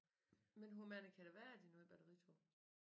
Men hvor mange kan der være i det nye batteritog?